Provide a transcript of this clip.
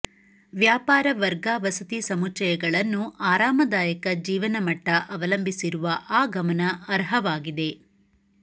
ವ್ಯಾಪಾರ ವರ್ಗ ವಸತಿ ಸಮುಚ್ಛಯಗಳನ್ನು ಆರಾಮದಾಯಕ ಜೀವನಮಟ್ಟ ಅವಲಂಬಿಸಿರುವ ಆ ಗಮನ ಅರ್ಹವಾಗಿದೆ